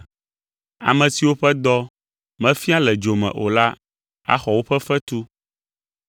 Ame siwo ƒe dɔ mefia le dzo me o la axɔ woƒe fetu.